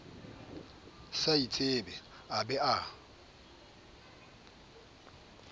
sa itsebe a be a